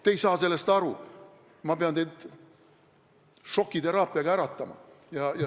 Te ei saa sellest aru, ma pean teid šokiteraapiaga äratama.